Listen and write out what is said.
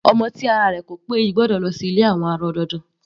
Ọmọ tí ara rẹ̀ ko pé yìí gbọ́dọ̀ lọ sí ilé àwọn arọ dandan.